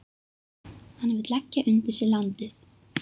Hann vill leggja undir sig landið.